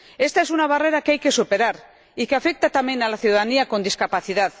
Esta es una barrera que hay que superar y que afecta también a la ciudadanía con discapacidad.